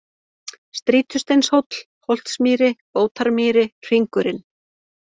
Strýtusteinshóll, Holtsmýri, Bótarmýri, Hringurinn